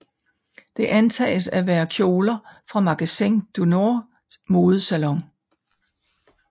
Det antages af være kjoler fra Magasin du Nords Modelsalon